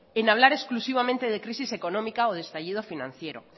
en hablar exclusivamente de crisis económica o de estallido financiero